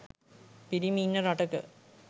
පිරිමි ඉන්න රටක